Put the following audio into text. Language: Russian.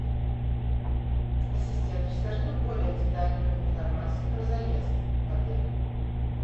ассистент расскажи мне более детальную информацию про заезд в отель